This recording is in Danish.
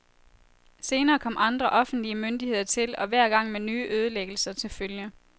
Senere kom andre offentlige myndigheder til, og hver gang med nye ødelæggelser til følge.